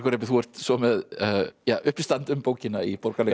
þú ert svo með uppistand um bókina í Borgarleikhúsinu